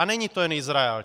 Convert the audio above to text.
A není to jen Izrael.